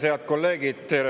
Head kolleegid!